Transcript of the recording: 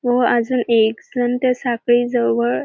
व अजून एक जण त्या साखळी जवळ --